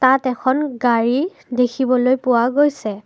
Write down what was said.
তাত এখন গাড়ী দেখিবলৈ পোৱা গৈছে।